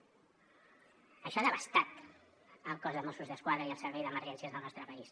això ha devastat el cos de mossos d’esquadra i el servei d’emergències del nostre país